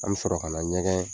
An bi sɔrɔ ka na ɲɛgɛn